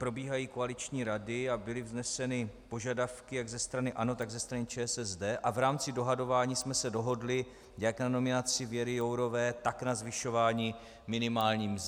Probíhají koaliční rady a byly vzneseny požadavky jak ze strany ANO, tak ze strany ČSSD a v rámci dohadování jsme se dohodli jak na nominaci Věry Jourové, tak na zvyšování minimální mzdy.